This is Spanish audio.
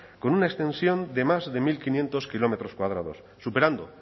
con una extensión de más de mil quinientos kilómetros cuadrados superando